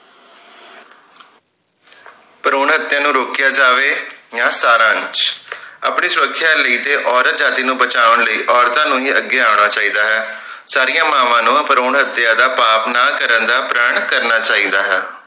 ਭਰੂਣ ਹਤਿਆ ਨੂੰ ਰੋਕਿਆ ਜਾਵੇ ਯਾ ਸਾਰਾਂਸ਼ ਆਪਣੀ ਸੁਰਖਿਆ ਲਈ ਤੇ ਔਰਤ ਜਾਤਿ ਨੂੰ ਬਚਾਉਣ ਲਈ ਔਰਤਾਂ ਨੂੰ ਹੀ ਅੱਗੇ ਆਉਣਾ ਚਾਹੀਦਾ ਹੈ ਸਾਰੀਆਂ ਮਾਵਾਂ ਨੂੰ ਭਰੂਣ ਹਤਿਆ ਦਾ ਪਾਪ ਨਾ ਕਰਨ ਦਾ ਪ੍ਰਣ ਕਰਨਾ ਚਾਹੀਦਾ ਹੈ